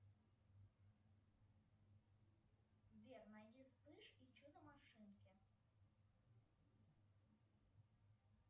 сбер найди вспыш и чудо машинки